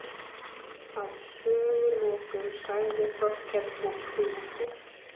Að sögulokum sagði Þórkell og kímdi